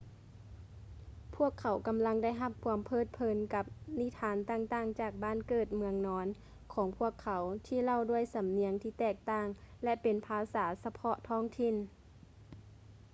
ພວກເຂົາກຳລັງໄດ້ຮັບຄວາມເພີດເພີນກັບນິທານຕ່າງໆຈາກບ້ານເກີດເມືອງນອນຂອງພວກເຂົາ ທີ່ເລົ່າດ້ວຍສຳນຽງທີ່ແຕກຕ່າງ ແລະ ເປັນພາສາສະເພາະທ້ອງຖິ່ນ